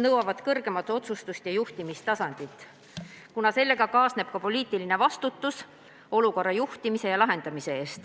nõuavad kõrgemat otsustus- ja juhtimistasandit, kuna sellega kaasneb ka poliitiline vastutus olukorra juhtimise ja lahendamise eest.